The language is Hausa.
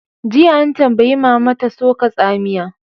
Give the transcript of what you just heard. Jiya, an tambayi mama ta "Soka tsamiya!"